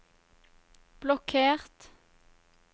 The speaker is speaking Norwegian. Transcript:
blokkert